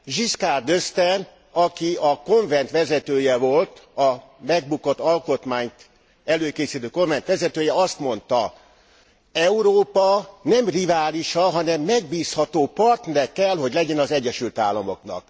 Giscard d'Estaing, aki a Konvent vezetője volt, a megbukott alkotmányt előkészítő kormánynak a vezetője, azt mondta Európa nem riválisa, hanem megbízható partnere kell hogy legyen az Egyesült Államoknak.